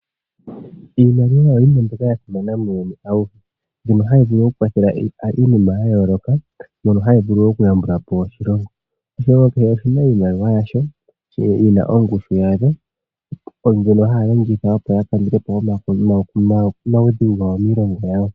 Iimaliwa oyo yimwe mbyoka ya simana muuyuni awuhe. Mbyono hayi vulu okukwathela iinima ya yooloka mbyono hayi vulu okuyambula po oshilongo. Oshilongo kehe oshina iimaliwa yasho yina ongushu yawo mbyono haya longitha opo ya kandule po omaudhigu gawo miilongo yawo.